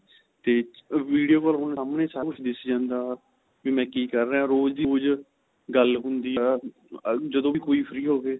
ਤੇ video call ਹੁਣ ਸਾਮਣੇ ਸਾਰਾ ਕੁੱਝ ਦਿਸ ਜਾਂਦਾ ਵੀ ਮੈਂ ਕੀ ਕਰ ਰਿਹਾ ਰੋਜ ਹੀ ਕੁੱਝ ਗੱਲ ਹੁੰਦੀ ਆ ਜਦੋ ਵੀ ਕੋਈ free ਹੋਵੇ